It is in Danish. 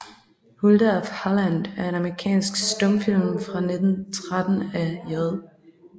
Hulda of Holland er en amerikansk stumfilm fra 1913 af J